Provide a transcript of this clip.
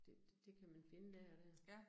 Det kan man finde der og der